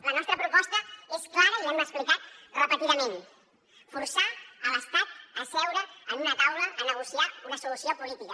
la nostra proposta és clara i l’hem explicat repetidament forçar l’estat a seure en una taula a negociar una solució política